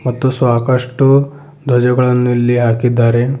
ಮತ್ತು ಸ್ವಾಕಷ್ಟು ಧ್ವಜಗಳನ್ನು ಇಲ್ಲಿ ಹಾಕಿದ್ದಾರೆ.